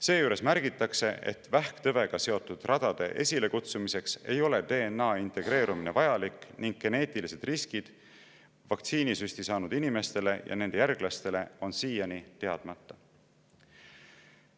Seejuures märgitakse, et vähktõvega seotud radade esilekutsumiseks ei ole DNA integreerumine vajalik ning geneetilised riskid vaktsiinisüsti saanud inimestele ja nende järglastele on siiani teadmata.